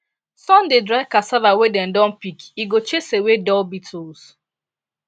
sun dey dry cassava wey dem don pick e go chase away dull beetles